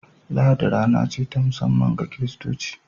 Lahadi rana ce ta musamman ga kiristaci